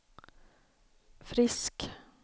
Frisk